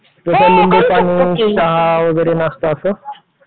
सोडा, लिंबू, चहा वगैरे नाश्ता असं?